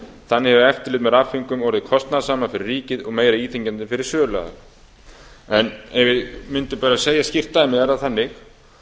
þannig hefur eftirlit með rafföngum orðið kostnaðarsamara fyrir ríkið og meira íþyngjandi fyrir söluaðila ef við mundum bara segja skýrt dæmi er það þannig